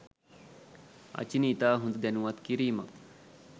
අචිනි ඉතා හොඳ දැනුවත් කිරීමක්